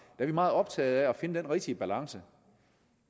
er vi meget optaget af at finde den rigtige balance